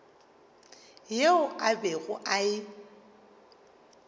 yeo a bego a e